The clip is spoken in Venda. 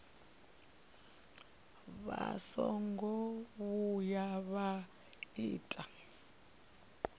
vha songo vhuya vha ita